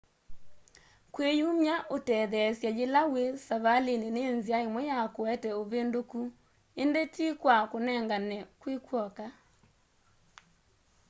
kwiyumya utetheesye yila wi savalini ni nzia imwe ya kuete uvinduku indi ti kwa kunengane kwi kw'oka